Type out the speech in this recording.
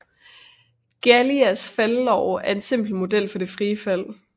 Galileis faldlov er en simpel model for det frie fald